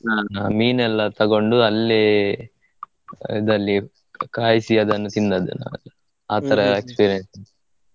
ತಗೊಂಡು ಅಲ್ಲಿ ಇದಲ್ಲಿ ಕಾಯಿಸಿ ಅದನ್ನು ತಿಂದದ್ದು ನಾವೆಲ್ಲ .